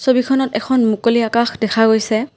ছবিখনত এখন মুকলি আকাশ দেখা গৈছে।